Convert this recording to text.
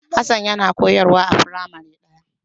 Hassan yana koyarwa a firamare ɗaya.